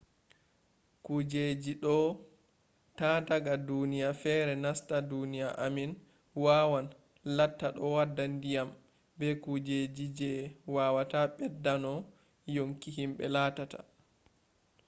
kujeji do’a ta daga duniya fere nasta duniya amin wawan latta ɗo wadda ndiyam be kujeji je wawata ɓedda no yonki himɓe lattata